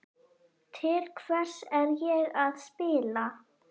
Til hvers er ég að spila?